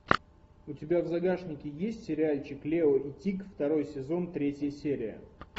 у тебя в загашнике есть сериальчик лео и тик второй сезон третья серия